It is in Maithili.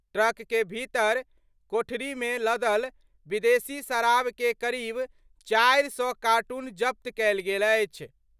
ट्रक के भीतर कोठरी मे लदल विदेशी शराब के करीब 400 कार्टून जब्त कयल गेल अछि।